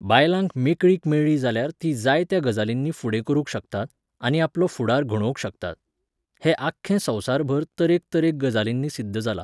बायलांक मेकळीक मेळ्ळी जाल्यार तीं जाय त्या गजालींनी फुडें करूंक शकतात, आनी आपलो फुडार घडोवंक शकतात. हें आख्खें संवसारभर तरेक तरेक गजालिंनी सिद्ध जालां.